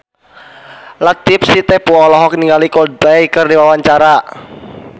Latief Sitepu olohok ningali Coldplay keur diwawancara